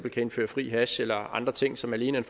indføre fri hash eller andre ting som alene er